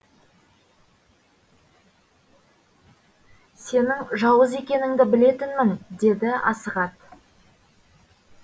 сенің жауыз екеніңді білетінмін деді асығат